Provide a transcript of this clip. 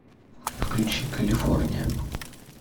включи калифорния